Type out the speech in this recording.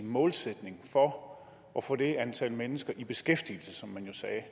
målsætning for at få det antal mennesker i beskæftigelse som man jo sagde